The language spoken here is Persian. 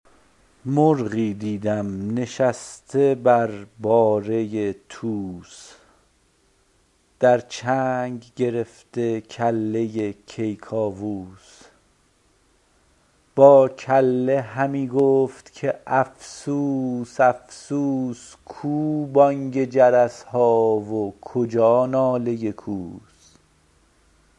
مرغی دیدم نشسته بر باره توس در چنگ گرفته کله کیکاووس با کله همی گفت که افسوس افسوس کو بانگ جرس ها و کجا ناله کوس